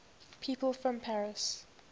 people from paris